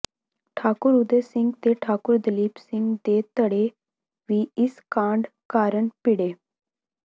ਠਾਕੁਰ ਉਦੈ ਸਿੰਘ ਤੇ ਠਾਕੁਰ ਦਲੀਪ ਸਿੰਘ ਦੇ ਧੜੇ ਵੀ ਇਸ ਕਾਂਡ ਕਾਰਨ ਭਿੜੇ